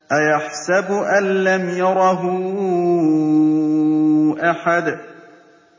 أَيَحْسَبُ أَن لَّمْ يَرَهُ أَحَدٌ